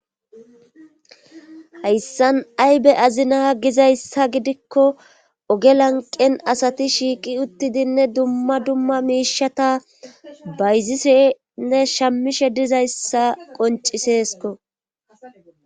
Hayssan aybe azinaa gizayssa gidikko ogelanqen asati shiiqi uttidinne dumma dumma miishata bayzisenne shammishe dizayssa qonciseesko